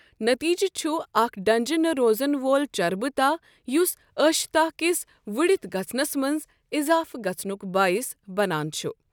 نٔتیٖجہٕ چُھ اَکھ ڈنجہِ نہٕ روزن وول چربہٕ تاہ یُس ٲشہِ تاہ كِس وٗڈِتھ گژھنس منز اِضافہٕ گژھنک بٲیس بنان چھ ۔